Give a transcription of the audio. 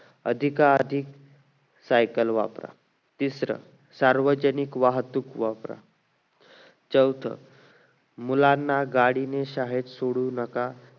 अधिका अर्दिक cycle वापरा तिसरं सार्वजनिक वाहतूक वापरा चौथं मुलांना गाडीने शाळेत सोडू नका